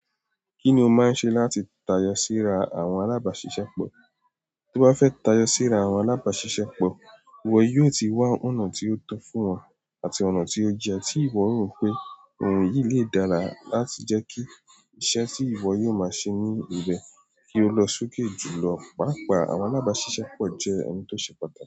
Kí ni o máa ń ṣe láti tayọ síra àwọn alábàáṣiṣẹ́pọ̀? Tó bá fẹ́ tayọ síra àwọn alábàáṣiṣẹ́pọ̀, ìwọ yóò ti wá ọ̀nà tí ó tọ́ fún wọn àti ọ̀nà tí ó yẹ tí ìwọ rò pé ohun yìí lè dára láti jẹ́ kí iṣẹ́ tí ìwọ yóò máa ṣe ní ibẹ̀ kí ó lọ sókè jùlọ. Pàápàá, àwọn alábàáṣiṣẹ́pọ̀ jẹ́ ẹni tó ṣe pàtàkì.